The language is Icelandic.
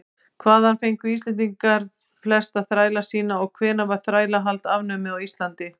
hvaðan fengu íslendingar flesta þræla sína og hvenær var þrælahald afnumið á íslandi